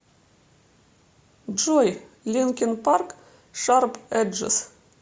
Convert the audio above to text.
джой линкин парк шарп эджес